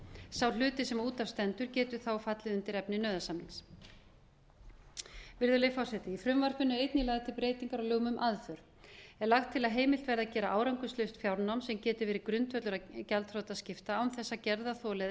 sá hluti sem út af stendur geti þá fallið undir efni nauðasamnings virðulegi forseti í frumvarpinu er einnig lögð til breyting á lögum um aðför er lagt til að heimilt verði að gera árangurslaust fjárnám sem geti verið grundvöllur að gjaldþrotaskipti án þess að gerðarþoli eða